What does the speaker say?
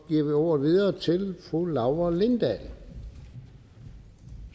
vi ordet til fru laura lindahl